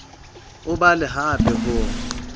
o o bale hape ho